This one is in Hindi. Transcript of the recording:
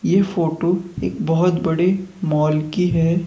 ये फोटो एक बहुत बड़े मॉल की है।